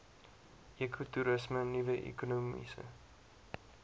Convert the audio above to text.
ekotoerisme nuwe ekonomiese